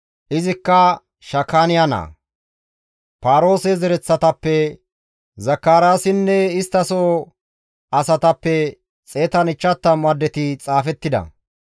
izikka Shakaaniya naa, Paaroose zereththatappe Zakaraasinne istta soo asatappe 150 addeti xaafettida;